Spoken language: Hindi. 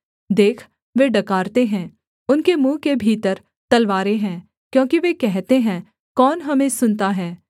देख वे डकारते हैं उनके मुँह के भीतर तलवारें हैं क्योंकि वे कहते हैं कौन हमें सुनता है